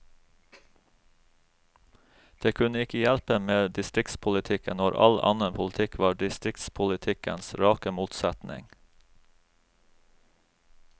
Det kunne ikke hjelpe med distriktspolitikken, når all annen politikk var distriktspolitikkens rake motsetning.